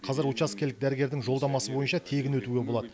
қазір учаскелік дәрігердің жолдамасы бойынша тегін өтуге болады